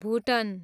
भुटन